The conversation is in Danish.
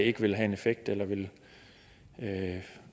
ikke vil have en effekt eller vil